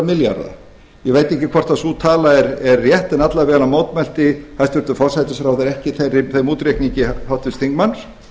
milljarða ég veit ekki hvort sú tala er rétt en alla vega mótmælti hæstvirtur forsætisráðherra ekki þeim útreikningi háttvirts þingmanns